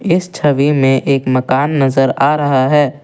इस छवि में एक मकान नजर आ रहा है।